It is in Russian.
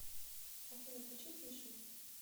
афина включи фиши